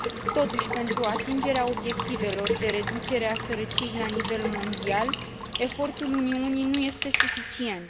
Totuși, pentru atingerea obiectivelor de reducere a sărăciei la nivel mondial, efortul Uniunii nu este suficient.